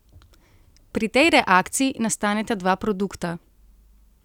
Pri tej reakciji nastaneta dva produkta.